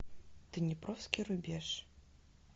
днепровский рубеж